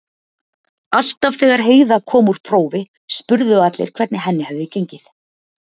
Alltaf þegar Heiða kom úr prófi spurðu allir hvernig henni hefði gengið.